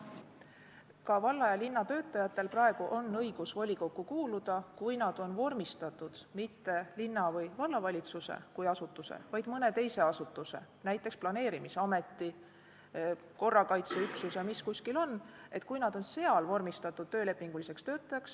Ka valla ja linna töötajatel on praegu õigus volikokku kuuluda, kui nad on vormistatud mitte linna- või vallavalitsuse kui asutuse, vaid mõne teise asutuse, näiteks planeerimisameti, korrakaitseüksuse töölepinguliseks töötajaks.